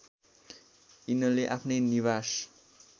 यिनले आफ्नै निवास